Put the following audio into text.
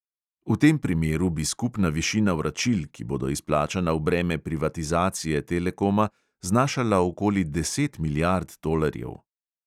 V tem primeru bi skupna višina vračil, ki bodo izplačana v breme privatizacije telekoma, znašala okoli deset milijard tolarjev.